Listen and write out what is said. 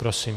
Prosím.